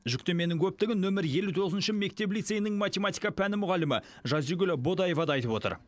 жүктеменің көптігін нөмір елу тоғызыншы мектеп лицейінің математика пәні мұғалімі жазигүл бодаева да айтып отыр